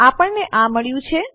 આપણને આ મળ્યું છે